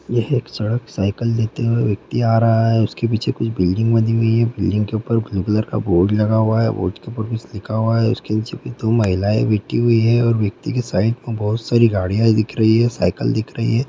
यह एक सड़क साइकिल लेते हुए व्यक्ति आ रहा है उसके पीछे कुछ बिल्डिंग बनी हुई है बिल्डिंग के ऊपर ब्लू कलर का बोर्ड लगा हुआ है बोर्ड के ऊपर कुछ लिखा हुआ है उसके नीचे दो महिलायें बैठी हुई हैं और व्यक्ति के साइड में बहुत सारी गाड़ियां दिख रही है और साइकिल दिख रही है।